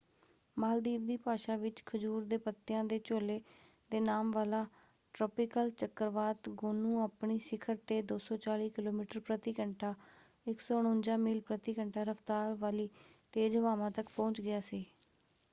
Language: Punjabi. ਮਾਲਦੀਵ ਦੀ ਭਾਸ਼ਾ ਵਿੱਚ ਖਜੂਰ ਦੇ ਪੱਤਿਆਂ ਦੇ ਝੋਲੇ ਦੇ ਨਾਮ ਵਾਲਾ ਟ੍ਰਾਪਿਕਲ ਚੱਕਰਵਾਤ ਗੋਨੂ ਆਪਣੀ ਸਿਖਰ 'ਤੇ 240 ਕਿਲੋਮੀਟਰ ਪ੍ਰਤੀ ਘੰਟਾ 149 ਮੀਲ ਪ੍ਰਤੀ ਘੰਟਾ ਰਫ਼ਤਾਰ ਵਾਲੀ ਤੇਜ਼ ਹਵਾਵਾਂ ਤੱਕ ਪਹੁੰਚ ਗਿਆ ਸੀ।